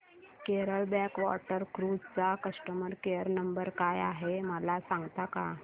Kerala backwater cruise चा customer care number काय आहे मला सांगता का